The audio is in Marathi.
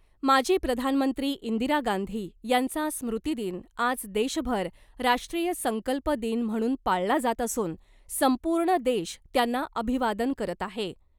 माजी प्रधानमंत्री इंदिरा गांधी यांचा स्मृतिदिन आज देशभर राष्ट्रीय संकल्प दिन म्हणून पाळला जात असून संपूर्ण देश त्यांना अभिवादन करत आहे .